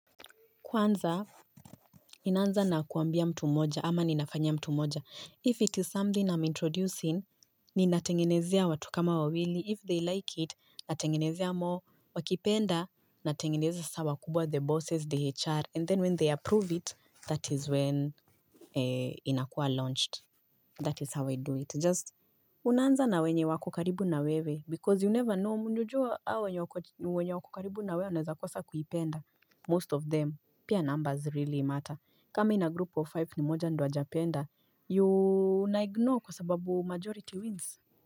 Kwanza, ninaanza na kuambia mtu mmoja, ama ninafanya mtu mmoja. If it is something I'm introducing, ninatengenezea watu kama wawili. If they like it, natengenezea more. Wakipenda, natengenezea sasa kubwa the bosses, the HR. And then when they approve it, that is when inakuwa launched. That is how I do it. Just, unaanza na wenye wako karibu na wewe. Because you never know, mnajua hao wenye wako karibu na wewe, wanaweza kosa kuipenda most of them. Pia numbers really matter. Kama in a group of five ni mmoja ndio hajapenda you unaignore kwa sababu majority wins.